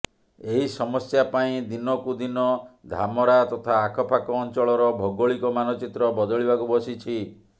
ଏହି ସମସ୍ୟା ପାଇଁ ଦିନକୁ ଦିକ ଧାମରା ତଥା ଆଖ ପାଖ ଅଂଚଳର ଭୌଗୋଳିକ ମାନଚିତ୍ର ବଦଳିବାକୁ ବସିଛି